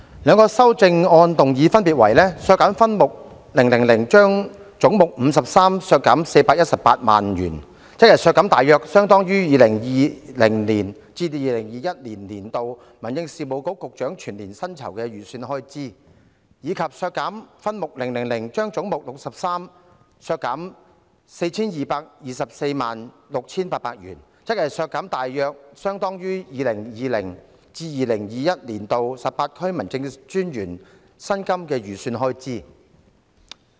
兩項修正案的內容分別為：為削減分目000而將總目53削減418萬元，即削減大約相當於 2020-2021 年度民政事務局局長全年薪酬預算開支，以及為削減分目而將總目削減 42,346,800 元，即削減大約相當於 2020-2021 年度18區民政事務專員薪金預算開支。